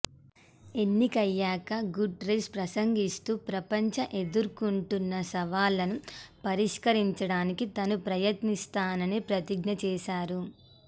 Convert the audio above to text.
ఎన్నికయ్యాక Guterres ప్రసంగిస్తూ ప్రపంచ ఎదుర్కొం టున్న సవాళ్లను పరిష్కరించడానికి తాను ప్రయత్నిస్తానని ప్రతిజ్ఞ చేశారు